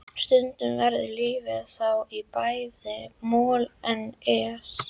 Stundum verður lífið þá í bæði moll og es.